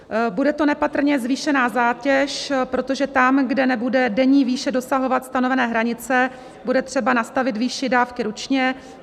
Bude to nepatrně zvýšená zátěž, protože tam, kde nebude denní výše dosahovat stanovené hranice, bude třeba nastavit výši dávky ručně.